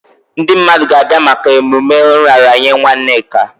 Ndị mmadụ ga-abịa maka emume nraranye nwa Nneka.